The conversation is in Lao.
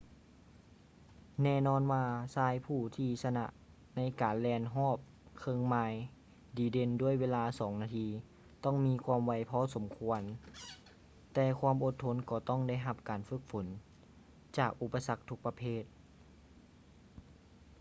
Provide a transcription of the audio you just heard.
ແນ່ນອນວ່າຊາຍຜູ້ທີ່ຊະນະໃນການແລ່ນຮອບເຄິ່ງໄມລດີເດັ່ນດ້ວຍເວລາສອງນາທີ ຕ້ອງມີຄວາມໄວພໍສົມຄວນ ແຕ່ຄວາມອົດທົນກໍຕ້ອງໄດ້ຮັບການຝຶກຝົນຈາກອຸປະສັກທຸກປະເພດ